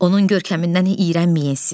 Onun görkəmindən iyrənməyin siz.